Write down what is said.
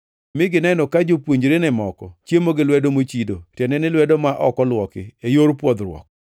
mi gineno ka jopuonjrene moko chiemo gi lwedo mochido, tiende ni lwedo ma ok olwoki e yor pwodhruok.